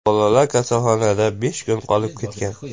Bolalar kasalxonada besh kun qolib ketgan.